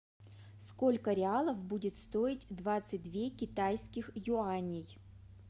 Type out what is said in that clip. сколько реалов будет стоить двадцать две китайских юаней